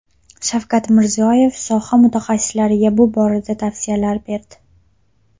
Shavkat Mirziyoyev soha mutaxassislariga bu borada tavsiyalar berdi.